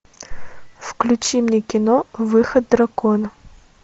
включи мне кино выход дракона